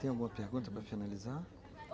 Tem alguma pergunta para finalizar?